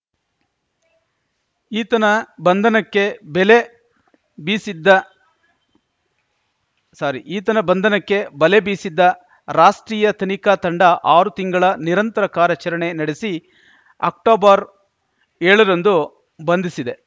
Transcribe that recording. ಈತನ ಬಂಧನಕ್ಕೆ ಬೆಲೆ ಬೀಸಿದ್ದ ಸಾರಿ ಈತನ ಬಂಧನಕ್ಕೆ ಬಲೆ ಬೀಸಿದ್ದ ರಾಷ್ಟ್ರೀಯ ತನಿಖಾ ತಂಡ ಆರು ತಿಂಗಳ ನಿರಂತರ ಕಾರ್ಯಾಚರಣೆ ನಡೆಸಿ ಅಕ್ಟೊಬರ್ಏಳರಂದು ಬಂಧಿಸಿದೆ